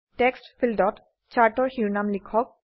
text ফীল্ডত চাৰ্টৰ শিৰোনাম লিখক